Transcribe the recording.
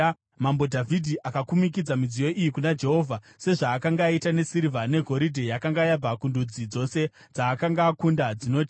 Mambo Dhavhidhi akakumikidza midziyo iyi kuna Jehovha, sezvaakanga aita nesirivha negoridhe yakanga yabva kundudzi dzose dzaakanga akunda dzinoti: